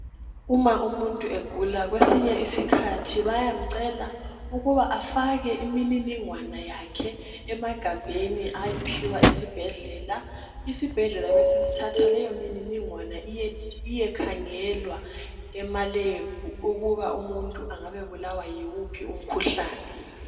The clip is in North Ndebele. Uma umuntu egula kwesinye isikhathi bayamcela ukuba afake imininingwana yakhe emagabheni ayiphiwa esibhedlela. Isibhedlela besesithatha leyo mininingwana iyekhangelwa ema lab ukuba umuntu angabe ebulawa yiwuphi umkhuhlane .